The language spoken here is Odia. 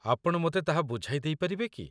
ଆପଣ ମୋତେ ତାହା ବୁଝାଇ ଦେଇପାରିବେ କି?